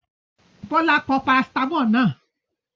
Bọ́lá pọ parasítámọ̀ náà?